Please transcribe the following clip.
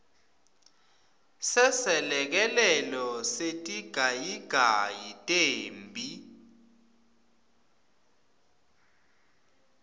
seselekelelo setigayigayi temphi